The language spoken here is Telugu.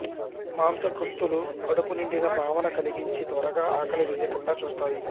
మాంసకృత్తులు కడుపు నిండిన భావన కలిగించి త్వరగా ఆకలి వేయకుండా చూస్తాయి